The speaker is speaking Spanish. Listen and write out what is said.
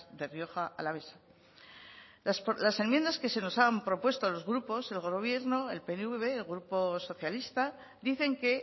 de rioja alavesa las enmiendas que se nos han propuesto a los grupos el gobierno el pnv el grupo socialista dicen que